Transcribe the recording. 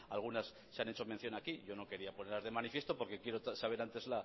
algunas se han hecho mención aquí yo no quería poner de manifiesto porque quiero saber antes